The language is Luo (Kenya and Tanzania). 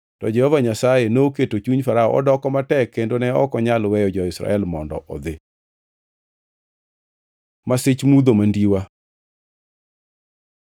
To Jehova Nyasaye noketo chuny Farao odoko matek kendo ne ok onyal weyo jo-Israel mondo odhi. Masich mudho mandiwa